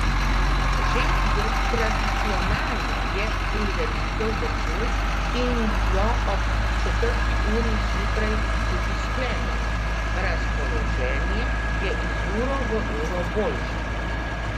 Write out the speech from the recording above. Že tradicionalno je prireditev začel in jo ob četrti uri zjutraj tudi sklenil: 'Razpoloženje je iz uro v uro boljše.